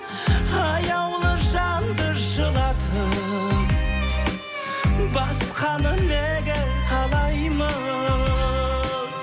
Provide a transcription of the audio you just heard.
аяулы жанды жылатып басқаны неге қалаймыз